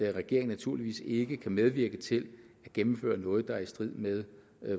regeringen naturligvis ikke kan medvirke til at gennemføre noget der er i strid med